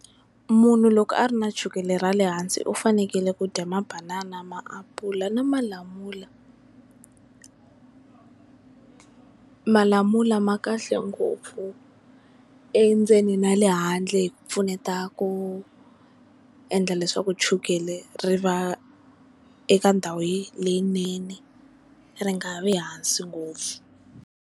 Munhu loko a ri na chukele ra le hansi u fanekele ku dya Mabanana, Maapula na Malamula. Malamula ma kahle ngopfu endzeni na le handle hi ku pfuneta ku endla leswaku chukele ri va eka ndhawu leyinene ri nga vi hansi ngopfu.